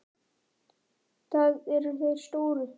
Það eru þeir stóru.